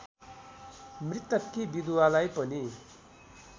मृतककी विधुवालाई पनि